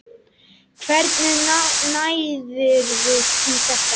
Hvernig náðirðu í þetta?